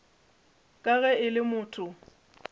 ka ge e le motho